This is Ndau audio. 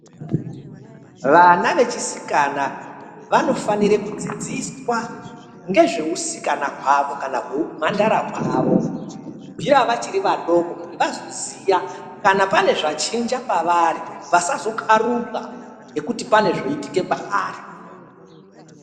Vana vechisikana vanofanire kudzidziswa ngezveusikana hwavo kana hweumhandara hwavo kubvira vachiri vadoko kuti vazoziya kana pane zvachinja pavari vasazokaruka ngekuti pane zvoitika pavari.